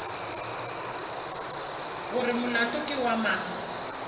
gore molato ke wa mang